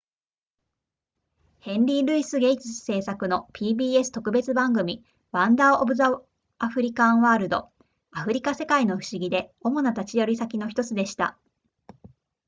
ヘンリールイスゲイツ制作の pbs 特別番組 wonders of the african world アフリカ世界の不思議で主な立ち寄り先の1つでした